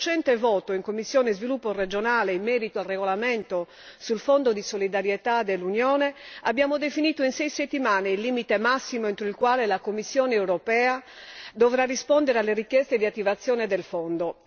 Nel recente voto in sede di commissione per lo sviluppo regionale in merito al regolamento sul Fondo di solidarietà dell'Unione abbiamo definito a sei settimane il limite massimo entro il quale la Commissione europea dovrà rispondere alle richieste di attivazione del Fondo.